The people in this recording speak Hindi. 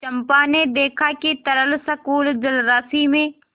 चंपा ने देखा कि तरल संकुल जलराशि में